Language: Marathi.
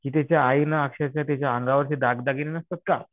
की त्याच्या आईने अक्षरशः त्यांच्या अंगावर दागदागिने नसतात का?